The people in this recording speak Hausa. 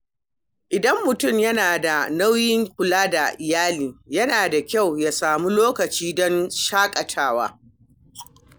Idan mutum yana da nauyin kula da iyali, yana da kyau ya sami lokaci don shaƙatawa.